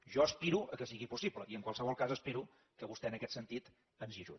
jo aspiro al fet que sigui possible i en qualsevol cas espero que vostè en aquest sentit ens hi ajudi